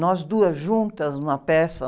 Nós duas juntas, uma peça?